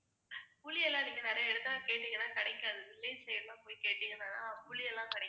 புளி எல்லாம் நீங்க நிறைய இடத்துல கேட்டீங்கன்னா கிடைக்காது கேட்டீங்கன்னா தான் புளி எல்லாம் கிடைக்கும்.